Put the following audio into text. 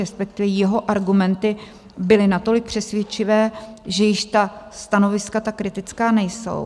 Respektive jeho argumenty byly natolik přesvědčivé, že již ta stanoviska tak kritická nejsou.